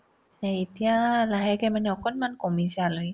সেই এতিয়া লাহেকে মানে অকনমান কমিছে আলহী